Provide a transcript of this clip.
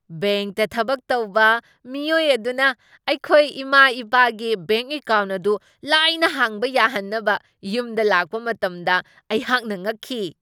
ꯕꯦꯡꯛꯇ ꯊꯕꯛ ꯇꯧꯕ ꯃꯤꯑꯣꯏ ꯑꯗꯨꯅ ꯑꯩꯈꯣꯏ ꯏꯃꯥ ꯏꯄꯥꯒꯤ ꯕꯦꯡꯛ ꯑꯦꯀꯥꯎꯟ ꯑꯗꯨ ꯂꯥꯏꯅ ꯍꯥꯡꯕ ꯌꯥꯍꯟꯅꯕ ꯌꯨꯝꯗ ꯂꯥꯛꯄ ꯃꯇꯝꯗ ꯑꯩꯍꯥꯛꯅ ꯉꯛꯈꯤ ꯫